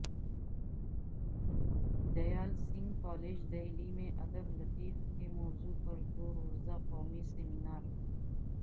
Dayal Singh college Delhi میں ادب لطیف کے موضوع پر دو روزہ قومی سمینار